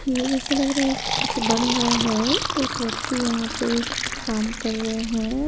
ऐसा लग रहा है कि कुछ बन रहा है एक व्यक्ति यहां पे काम कर रहे हैं।